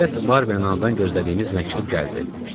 Nəhayət, Barberin anadan gözlədiyimiz məktub gəldi.